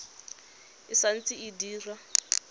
e sa ntse e dira